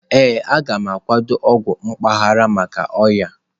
Ee, a gam akwado ọgwụ mpaghara maka ọnya.-